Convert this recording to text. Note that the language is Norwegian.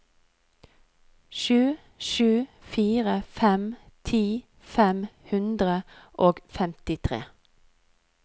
sju sju fire fem ti fem hundre og femtitre